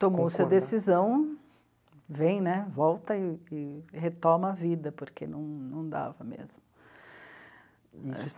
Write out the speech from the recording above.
Tomou sua decisão, vem, né, volta e... e retoma a vida, porque não... não dava mesmo.